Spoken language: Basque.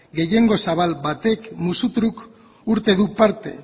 gehiengo zabal batek musutruk hartu du parte